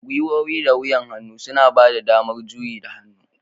Gwiwowi da wuyan hannu suna bada damar juyi ga hannu